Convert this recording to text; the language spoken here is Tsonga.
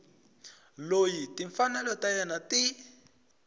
loyi timfanelo ta yena ti